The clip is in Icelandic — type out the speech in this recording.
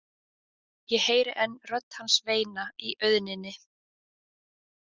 Ég heyri enn rödd hans veina í auðninni.